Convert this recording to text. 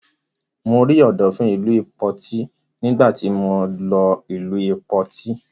Mo rí Ọ̀dọ̀fin ìlú Ìpoti nígbà tí mọ lọ ìlú Ìpoti.